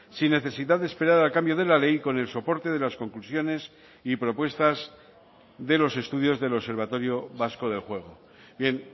sin necesidad de esperar al cambio de la ley con el soporte de las conclusiones y propuestas de los estudios del observatorio vasco del juego bien